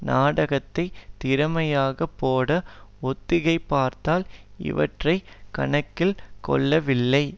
நாடகத்தைத் திறமையாக போட ஒத்திகை பார்த்தால் இவற்றை கணக்கில் கொள்ளவில்லை